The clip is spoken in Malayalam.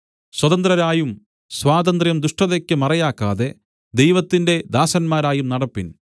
സ്വതന്ത്രരായും സ്വാതന്ത്ര്യം ദുഷ്ടതയ്ക്ക് മറയാക്കാതെ ദൈവത്തിന്റെ ദാസന്മാരായും നടപ്പിൻ